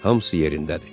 Hamısı yerindədir.